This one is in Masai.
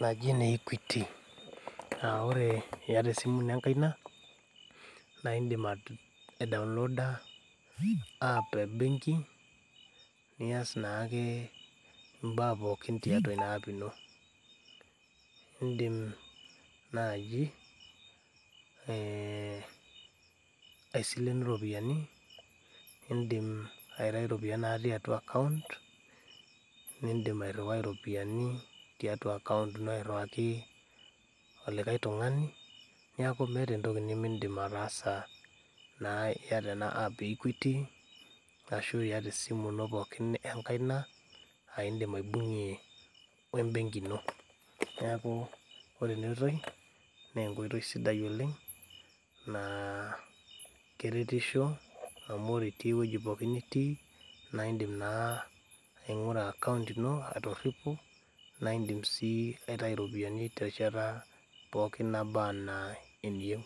naji ene equity. Aaore iata esimu ino enkaina naaindim aidownloda  app ebenki nias naakee imbaa pookin tiatua ina app ino. Indim naaji eeh aisilenu iropiyani, indim aitai iropiyani natii atua account nindim airruwai iropiani tiatua  account ino airriwaki olikai tung'ani neaku meata entoki nimindim ataasa naa iata ena app e equity ashu iata esimu ino pookin enkaina aaindim aibung'ie oembenki ino, neakuu ore enaoitoi neenkoitoi sidai oleng' naa keretisho ore itii ewueji pooki nitii naaindim naa aing'ura account ino atoripo naindim sii aitai iropiani terishata pooki nabaa anaa eniyou.